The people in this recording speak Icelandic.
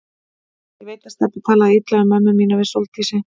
Ég veit að Stebbi talaði illa um mömmu mína við Sóldísi.